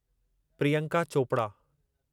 Priyanka Chopra